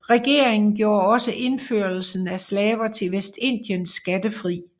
Regeringen gjorde også indførslen af slaver til Vestindien skattefri